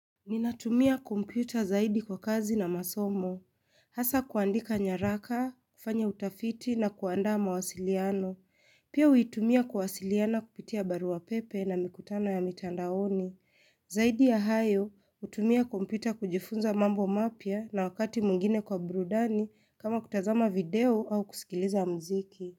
Ninatumia kompyuta zaidi kwa kazi na masomo. Hasa kuandika nyaraka, kufanya utafiti na kuandaa mawasiliano. Pia huitumia kuwasiliana kupitia barua pepe na mikutano ya mitandaoni. Zaidi ya hayo, hutumia kompyuta kujifunza mambo mapya na wakati mwingine kwa burudani kama kutazama video au kusikiliza muziki.